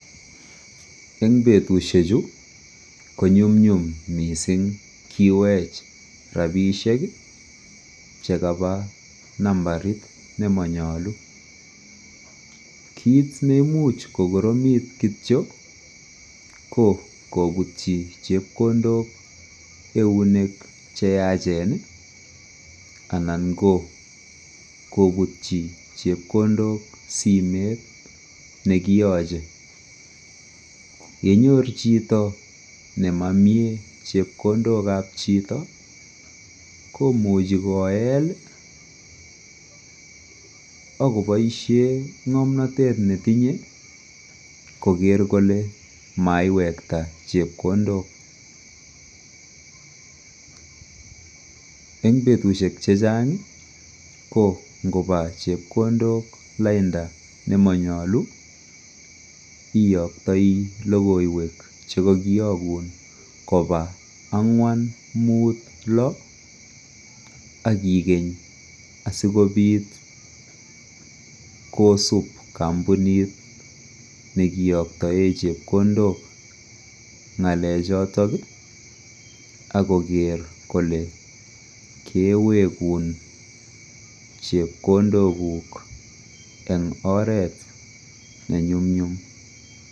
en butushek chu, konyumnyum mising ngiweech rabishek iih chegaba nambariit nemonyolu, kiit nemuuch kogoromiit kityo ko kobutyi chepkondook eunek cheyachen iih anan kobutyi chepkondook simeet negiyoche, yenyoor chito nemomyee chepkondook ab chito, komuche koeet ak koboishen ngomnotet netinye kogeer kole maiwekta chepkondook, en betushek chechang ko ngoba chepkondook lainda nemonyolu iyoktoi logoiweek chegogiyoguun koba angwaan muut lo ak igeny asigobiit kosuub kompunit negiyoktoen chepkondook ngalee choton iih ak kogeer kole keweguun chepkondok guuk en oreet nenyumnyum.